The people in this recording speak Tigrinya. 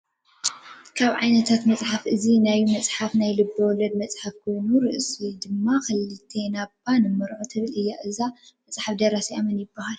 ካብ ዓይነታት መፅሓፍ እዚ ናይ መፅሓፍ ናይ ልቢ-ወለድ መፅሓፍ ኮይና ርእሳ ድማ ክልተና እባ ንሞርዖ ትብል እያ :: እዛ መፅሓፍ ደራሲኣ መን ይበሃል ?